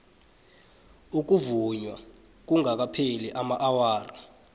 ukuvunywa kungakapheli amaawara